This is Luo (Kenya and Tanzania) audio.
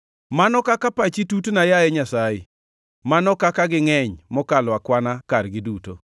Mano kaka pachi tutna, yaye Nyasaye! Mano kaka gingʼeny mokalo akwana kargi duto!